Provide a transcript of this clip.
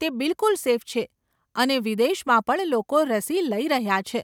તે બિલકુલ સેફ છે અને વિદેશમાં પણ લોકો રસી લઇ રહ્યા છે.